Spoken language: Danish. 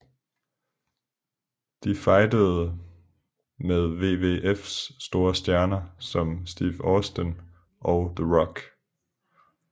De fejdede med WWFs store stjerner som Steve Austin og The Rock